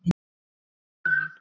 Hvíldu í friði, elskan mín.